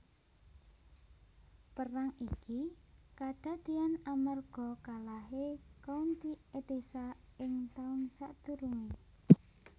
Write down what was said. Perang iki kadadéyan amarga kalahé County Edessa ing taun sadurungé